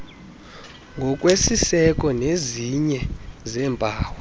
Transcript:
ngokwesiseko sezinye zeempawu